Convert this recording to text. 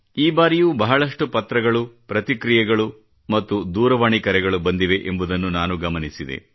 ಈ ಬಾರಿಯೂ ಬಹಳಷ್ಟು ಪತ್ರಗಳು ಪ್ರತಿಕ್ರಿಯೆಗಳು ಮತ್ತು ದೂರವಾಣಿ ಕರೆಗಳು ಬಂದಿವೆ ಎಂಬುದನ್ನು ನಾನು ಗಮನಿಸಿದೆ